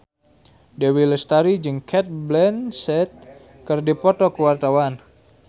Dewi Lestari jeung Cate Blanchett keur dipoto ku wartawan